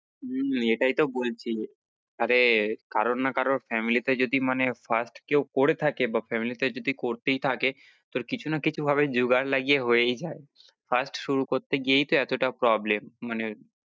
হম এটাই তো বলছি আরে কারোর না কারোর family তে যদি মানে first কেও করে থাকে বা family তে করতেই থাকে তো কিছু না কিছু ভাবে জোগাড় লাগিয়ে হয়েই যায় first শুরু করতে গিয়েই তো এতটা problem মানে